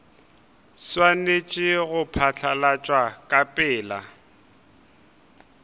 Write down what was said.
swanetše go phatlalatšwa ka pela